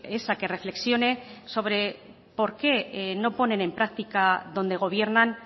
es a que reflexione sobre por qué no ponen en práctica donde gobiernan